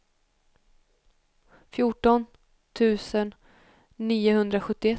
fjorton tusen niohundrasjuttioett